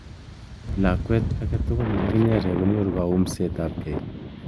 Lakwet ake tugul ne kakinyere konyoru kaumset ab kei.